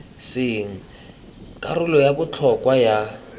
seng karolo ya botlhokwa ya